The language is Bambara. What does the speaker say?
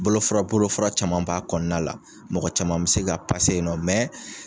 Bolofara bolofara caman b'a kɔnɔna la mɔgɔ caman bɛ se ka ye nɔ